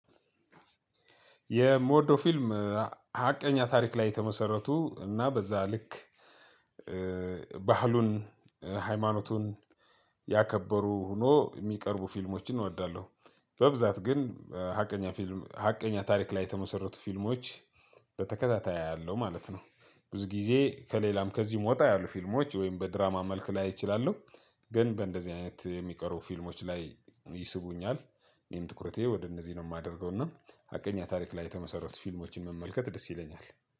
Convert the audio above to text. የምወደው ፊልም ሀቀኛ ታሪክ ላይ የተመሰረቱ እና በዛ ልክ ባህሉን ሃይማኖቱን ያከበሩ ሆኖ የሚቀርቡ ፊልሞችን እወዳለሁ። በብዛት ግን ሀቀኛ ፊልም ሀቀኛ ታሪክ ላይ የተመሰረቱ ፊልሞች በተከታታይ አያለው ማለት ነው። ብዙ ጊዜ ከሌላም ከዚህም ወጣ ያሉ ፊልሞች ወይም በድራማ መልክ ላይ እችላለሁ። ግን በእንደዚህ አይነት የሚቀሩ ፊልሞች ላይ ይስቡኛል። እኔም ትኩረቴ ወደ እንደዚህ ነው የማደርገው እና ሀቀኛ ታሪክ ላይ የተመሰረቱ ፊልሞችን መመልከት ደስ ይለኛል።